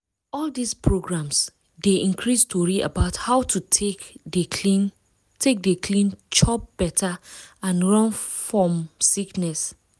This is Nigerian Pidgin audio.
all dis programs dey increase tori about how to take dey clean take dey clean chop better and run fom sickness.